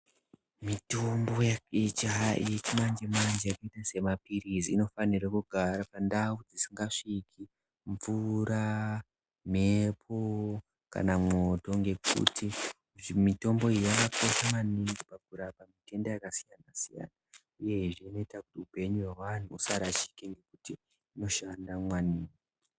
Mitombo yechimanje manje yakaita semapilizi inofana kugara pandau isingasvike mvura , mhepo kana mwoto nekuti mitombo iyi yakakosha maningi kurapa matenda akasiyana uyezve inoita kuti upenyu hwevanhu husarasike nekuti inoshanda maningi.